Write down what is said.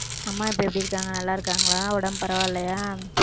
அம்மா இப்ப எப்படி இருக்காங்க நல்லா இருக்காங்களா உடம்பு பரவாயில்லையா